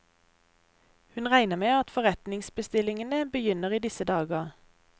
Hun regner med at forretningsbestillingene begynner i disse dager.